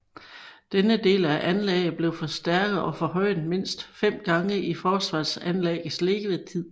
Denne del af anlægget blev forstærket og forhøjet mindst fem gange i forsvarsanlæggets levetid